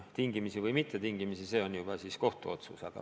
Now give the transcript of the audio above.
Tingimisi või mittetingimisi, see on juba kohtu otsus.